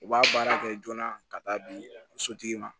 U b'a baara kɛ joona ka taa di sotigi ma